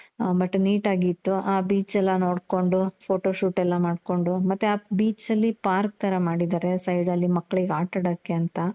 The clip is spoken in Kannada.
ಆ but neat ಆಗಿ ಇತ್ತು. ಆ beach ಎಲ್ಲಾ ನೋಡ್ಕೊಂಡು, photo shoot ಎಲ್ಲಾ ಮಾಡ್ಕೊಂಡು, ಮತ್ತೆ beach ಅಲ್ಲಿ park ತರ ಮಾಡಿದಾರೆ side ಅಲ್ಲಿ ಮಕ್ಳಿಗೆ ಆಟ ಆಡಕೆ ಅಂತ.